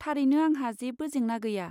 थारैनो, आंहा जेबो जेंना गैया।